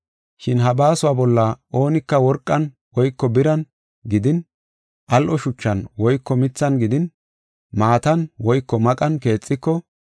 Shin ha baasuwa bolla oonika worqan woyko biran gidin, al7o shuchan woyko mithan gidin, maatan woyko maqan keexiko,